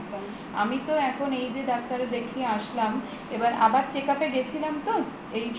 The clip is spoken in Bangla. আমি তো এখন এই যে ডাক্তার দেখিয়ে আসলাম এবার আবার check-up এ গেছিলাম তো এই